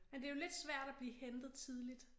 Men det jo lidt svært at blive hentet tidligt